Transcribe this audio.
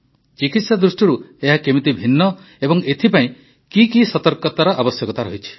ଚିକିତ୍ସା ଦୃଷ୍ଟିରୁ ଏହା କିପରି ଭିନ୍ନ ଏବଂ ଏଥିପାଇଁ କି କି ସତର୍କତାର ଆବଶ୍ୟକତା ରହିଛି